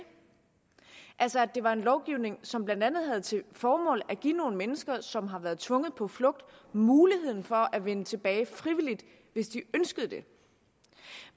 altså at det var en lovgivning som blandt andet havde til formål at give nogle mennesker som har været tvunget på flugt muligheden for at vende tilbage frivilligt hvis de ønskede det